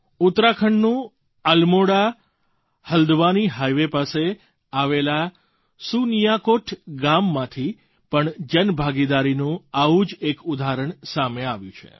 ઉત્તરાખંડનું Almora Haldwani highway પાસે આવેલા સુનિયાકોટ ગામમાંથી પણ જનભાગીદારનું આવું જ એક ઉદાહરણ સામે આવ્યું છે